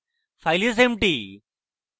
file is empty